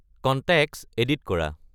contacts edit কৰা